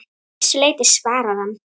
Að vissu leyti svarar hann.